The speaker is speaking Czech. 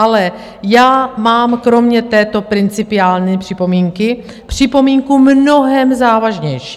Ale já mám kromě této principiální připomínky připomínku mnohem závažnější.